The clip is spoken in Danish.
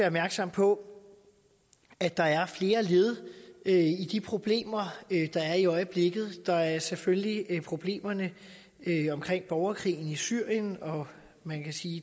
opmærksom på at der er flere led i de problemer der er i øjeblikket der er selvfølgelig problemerne omkring borgerkrigen i syrien og man kan sige